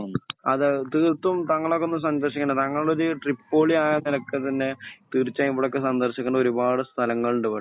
അതെ തീർത്തും താങ്കൾ അതൊന്ന് സന്ദർശിക്കണ്ടേണ് താങ്കൾ ഒരു ട്രിപ്പോളി ആയ നെലക്ക് തന്നെ തീർച്ചയായും ഇവിടൊക്കെ സന്ദർശിക്കണ്ടെ ഒരുപാട് സ്ഥലങ്ങൾ ണ്ട് ഇവടെ